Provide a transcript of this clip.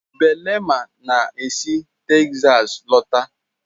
Belema na esi Texas lọta.